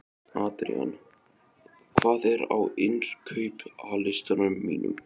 Adrían, hvað er á innkaupalistanum mínum?